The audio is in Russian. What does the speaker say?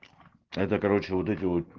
это короче вот эти вот